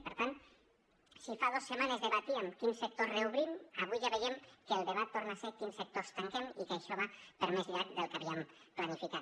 i per tant si fa dos setmanes debatíem quins sectors reobrim avui ja veiem que el debat torna a ser quins sectors tanquem i que això va per més llarg del que havíem planificat